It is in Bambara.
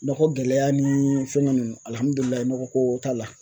Nɔgɔ gɛlɛya ni fɛngɛ nunnu alihamidulilayi nɔgɔ ko t'a la